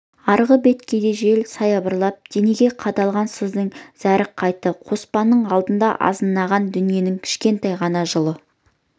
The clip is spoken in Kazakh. арғы беткейде жел саябырлап денеге қадалған сыздың зәрі қайтты қоспанның алдында азынаған дүниенің кішкентай ғана жылы